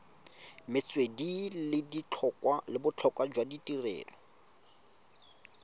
metswedi le botlhokwa jwa tirelo